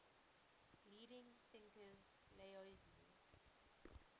leading thinkers laozi